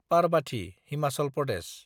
Parbati (Himachal Pradesh)